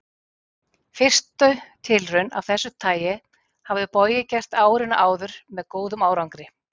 Fyrstu tilraun af þessu tagi hafði Bogi gert árinu áður með góðum árangri.